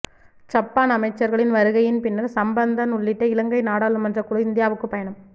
Japan அமைச்சர்களின் வருகையின் பின்னர் சம்பந்தன் உள்ளிட்ட இலங்கை நாடாளுமன்றக்குழு இந்தியாவுக்குப் பயணம்